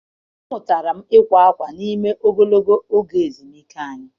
Amụtara m ịkwa akwa n’ime ogologo oge ezumike anyị